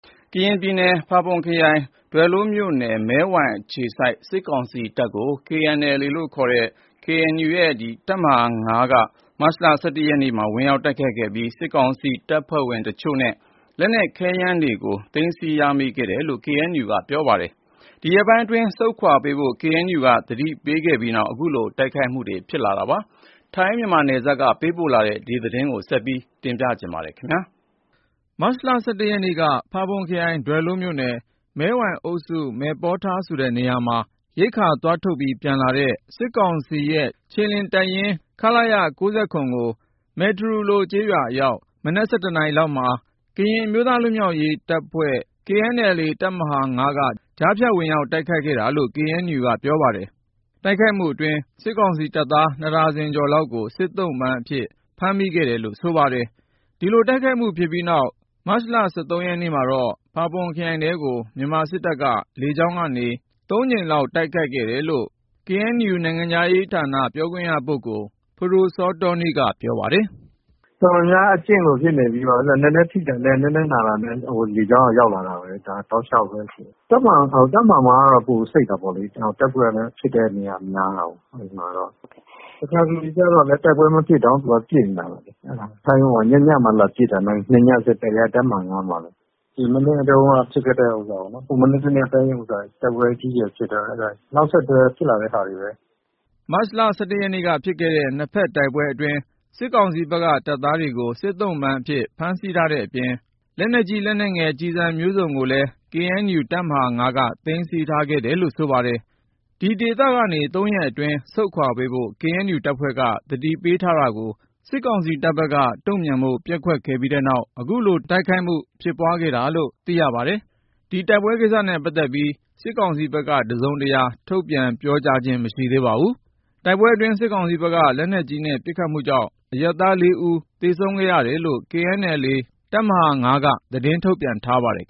ကရင်ပြည်နယ် ဖာပွန်ခရိုင်၊ ဒွယ်လိုးမြို့နယ် မဲဝိုင်အခြေစိုက် စစ်ကောင်စီတပ်ကို မတ်လ ၁၁ ရက်နေ့က ကရင်အမျိုးသားလွတ်မြောက်ရေးတပ် (KNLA) တပ်မဟာ ၅ က ဝင်ရောက်တိုက်ခိုက်ခဲ့ပြီးနောက် စစ်ကောင်စီတပ်ဖွဲ့ဝင် တချို့နဲ့ လက်နက်ခဲယမ်းတွေ သိမ်းဆည်းရမိခဲ့တယ်လို့ KNU က ပြောပါတယ်။ ဒီရက်ပိုင်းအတွင်း ဆုတ်ခွာပေးဖို့ KNU က သတိပေးခဲ့ပြီးနောက် အခုလို တိုက်ခိုက်မှု ဖြစ်လာတာပါ။ ထိုင်း-မြန်မာနယ်စပ်က ပေးပို့တဲ့သတင်းကို ကိုဉာဏ်ဝင်းအောင် တင်ပြထားပါတယ်။ မတ်လ ၁၁ ရက်နေ့က မူတြော်ခရိုင် (ဖာပွန်ခရိုင်) ဒွယ်လိုးမြို့နယ်၊ မယ်ဝေ (မဲဝိုင်) အုပ်စု၊ မယ်ပေါ်ထာဆိုတဲ့နေရာမှာ ရိက္ခာသွားထုတ်ပြီး ပြန်လာတဲ့ စစ်ကောင်စီရဲ့ ခြေလျင်တပ်ရင်း ခလရ ၉၇ ကို မယ်တရူလိုကျေးရွာအရောက် မနက် ၁၁ နာရီလောက်မှာ ကရင်အမျိုးသားလွတ်မြောက်ရေးတပ် တပ်မဟာ ၅ က ကြားဖြတ် ဝင်ရောက်တိုက်ခိုက်ခဲ့တာလို့ KNU က ပြောပါတယ်။ တိုက်ခိုက်မှုအတွင်း စစ်ကောင်စီတပ်သား ၂ ဒါဇင်ကျော်လောက်ကို စစ်သုံ့ပန်းအဖြစ် ဖမ်းမိခဲ့တယ်လို့ ဆိုပါတယ်။ ဒီလို တိုက်ခိုက်မှုဖြစ်ပြီးနောက် မတ်လ ၁၃ ရက်နေ့မှာတော့ ဖာပွန်ခရိုင်ထဲကို မြန်မာစစ်တပ်က လေကြောင်းကနေ ၃ ကြိမ်လောက် တိုက်ခိုက်ခဲ့တယ်လို့ KNU နိုင်ငံခြားရေးဌာန ပြောရေးဆိုခွင့်ရှိသူ ဖဒိုစောတောနီးက အခုလိုပြောပါတယ်။ "တိုက်လေယာဉ်နဲ့ပစ်တာ၊ တော်တော်များများကလည်း အကျင့်လိုဖြစ်နေပြီ။ နည်းနည်းထိတာနဲ့ နည်းနည်းနာတာနဲ့ လေကြောင်းကနေ ရောက်လာတာပဲ။ တပ်မဟာ ၅ ဘက်မှာတော့ ပိုစိတ်တယ်။ တိုက်ပွဲကလည်း ဖြစ်တဲ့နေရာ များတော့လေ။ တခါတလေကျတော့လည်း တိုက်ပွဲမဖြစ်တောင် သူကတော့ လာပစ်နေတာပဲလေ။ ညညဆို လာလာပစ်တာ ၂ ညဆက်တိုက် လာပစ်ခံရတာလည်း တပ်မဟာ ၅ မှာပဲ။ ဟိုမနေ့တနေ့က တိုက်ပွဲအကြီးအကျယ် ဖြစ်တဲ့ဟာရဲ့ နောက်ဆက်တွဲ ဖြစ်လာတာတွေပါပဲ။ တော်တော်များများလည်း အထိနာတယ်၊ လက်နက်တွေလည်း မိတယ်။" မတ်လ ၁၁ ရက်နေ့ကဖြစ်ခဲ့တဲ့ နှစ်ဖက်တိုက်ပွဲအတွင်း စစ်ကောင်စီဘက်က တပ်သားတွေကို စစ်သုံ့ပန်းအဖြစ် ဖမ်းဆီးထားတဲ့အပြင် လက်နက်ကြီး လက်နက်ငယ် ကျည်ဆန်မျိုးစုံကိုလည်း KNU တပ်မဟာ ၅ က သိမ်းဆည်းခဲ့တယ်လို့ ဆိုပါတယ်။ ဒီဒေသကနေ ၃ ရက်အတွင်း ဆုတ်ခွာပေးဖို့ KNU တပ်ဖွဲ့က သတိပေးထားတာကို စစ်ကောင်စီတပ်ဘက်က တုံ့ပြန်ဖို့ ပျက်ကွက်ခဲ့ပြီးနောက် အခုလို တိုက်ခိုက်မှု ဖြစ်ပွားခဲ့တာလို့ သိရပါတယ်။ ဒီတိုက်ပွဲကိစ္စနဲ့ ပတ်သက်လို့ စစ်ကောင်စီဘက်က တစုံတရာ ထုတ်ပြန်ပြောကြားခြင်း မရှိသေးပါဘူး။ တိုက်ပွဲအတွင်း စစ်ကောင်စီဘက်က လက်နက်ကြီးနဲ့ ပစ်ခတ်မှုကြောင့် အရပ်သား ၄ ဦး သေဆုံးခဲ့တယ်လို့လည်း KNLA ကရင်အမျိုးသားလွတ်မြောက်ရေးတပ် တပ်မဟာ ၅ က သတင်းထုတ်ပြန်ထားပါတယ်